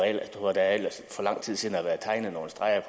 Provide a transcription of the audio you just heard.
lang tid siden har været tegnet nogle streger